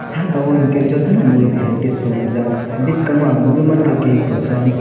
saka o unkee jotono murti hai swnamjak bwskango ang nugui manka gate kosom.